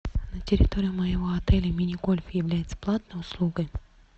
на территории моего отеля мини гольф является платной услугой